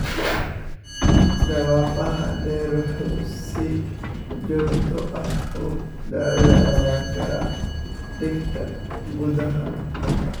Dhawaaqa dheer wuxuu si joogto ah u dhaawaci karaa dhegta gudaha.